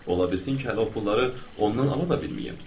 Ola bilsin ki, hələ o pulları ondan ala da bilməyim.